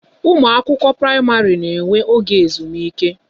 Ụmụ akwụkwọ praịmarị na enwe oge ezumike